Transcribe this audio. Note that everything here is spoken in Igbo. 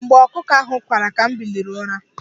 Mgbe ọkụkọ ahụ kwara, ka m biliri n'ụra.